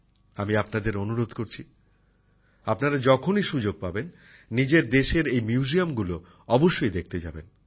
আমি আপনাদের অনুরোধ করছি আপনারা যখনই সুযোগ পাবেন নিজের দেশের এই সংগ্রহশালাগুলো অবশ্যই দেখতে যাবেন